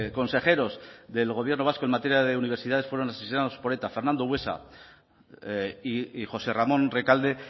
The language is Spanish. consejeros del gobierno vasco en materia de universidades fueron necesitamos por eta fernando buesa y josé ramón recalde